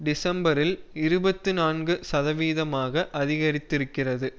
டிசம்பரில் இருபத்தி நான்கு சதவீதமாக அதிகரித்திருக்கிறது